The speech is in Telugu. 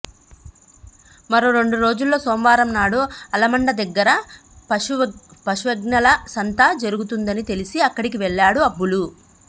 మరో రెండు రోజుల్లో సోమవారం నాడు అలమండ దగ్గర పశువ్ఞల సంత జరుగుతుందని తెలిసి అక్కడికి వెళ్లాడు అబ్బులు